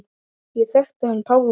Ég þekkti hann Pálma.